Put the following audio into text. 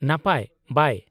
-ᱱᱟᱯᱟᱭ , ᱵᱟᱭ ᱾